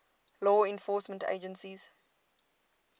law enforcement agencies